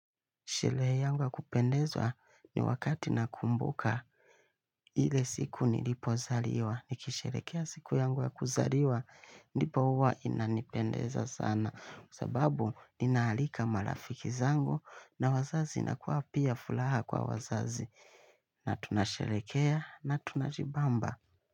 Shelehe yangu ya kupendezwa ni wakati nakumbuka ile siku nilipozaliwa. Nikisherekea siku yangu ya kuzaliwa ndipo huwa inanipendeza sana. Sababu ninaalika malafiki zangu na wazazi inakua pia fulaha kwa wazazi. Na tunasherekea na tunajibamba.